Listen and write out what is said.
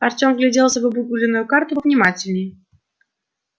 артём вгляделся в обугленную карту внимательнее